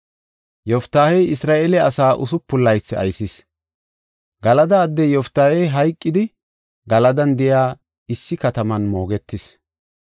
Yoftaahey Isra7eele asaa usupun laythi aysis. Galada addey Yoftaahey hayqidi Galadan de7iya issi kataman moogetis.